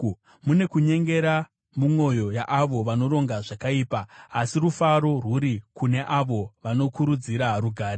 Mune kunyengera mumwoyo yaavo vanoronga zvakaipa, asi rufaro rwuri kune avo vanokurudzira rugare.